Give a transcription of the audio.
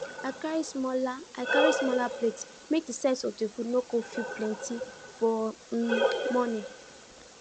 i carry smaller i carry smaller plates make the size of the food no go feel plenty for um morning